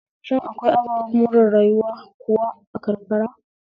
Shin akwai ababen more rayuwa kuwa a karkara?